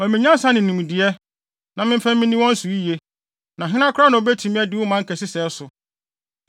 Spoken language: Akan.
Ma me nyansa ne nimdeɛ, na memfa nni wɔn so yiye, na hena koraa na obetumi adi wo man kɛse sɛɛ so?”